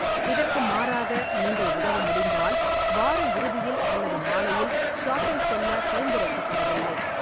இதற்கு மாறாக, நீங்கள் உதவ முடிந்தால் வார இறுதியில் அல்லது மாலையில் ஷாப்பிங் செல்ல பரிந்துரைக்கப்படவில்லை.